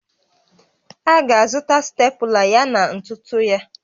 A ga-azụta Stepụla yana ntụtụ ya